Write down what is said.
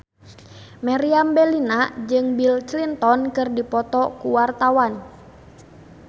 Meriam Bellina jeung Bill Clinton keur dipoto ku wartawan